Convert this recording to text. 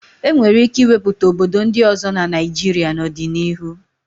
E nwere ike ịwepụta obodo ndị ọzọ na Naịjịrịa n'ọdịnihu.